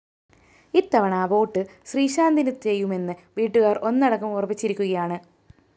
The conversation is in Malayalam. ഇത്തവണ വോട്ട്‌ ശ്രീശാന്തിന് ചെയ്യുമെന്ന് വീട്ടുകാര്‍ ഒന്നടങ്കം ഉറപ്പിച്ചിരിക്കുകയാണ്